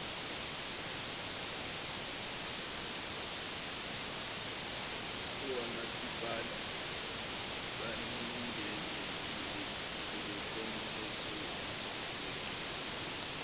awomasipala bacindezelekile ngokomthethosisekelo